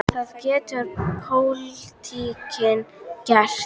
Hvað getur pólitíkin gert?